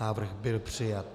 Návrh byl přijat.